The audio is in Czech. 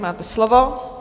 Máte slovo.